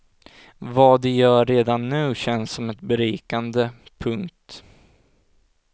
Vad de gör redan nu känns som ett berikande. punkt